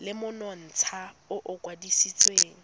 le monontsha o o kwadisitsweng